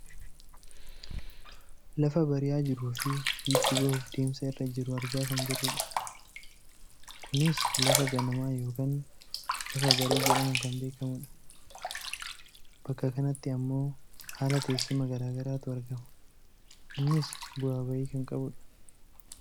Lafa bari'aa jiruufi biiftuu bahuuf deemsa irra jiru argaa kan jirrudha . Kunis lafa ganamaa yookaan alafa barii jedhamuun kan beekkamudha. Bakka kanatti ammoo haala teessuma gara garaatu argama. Innis bu'aa bahii kan qabudha.